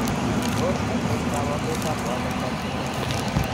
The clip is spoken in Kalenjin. Tos achon kabarunaik ab Waardenburg syndrome ?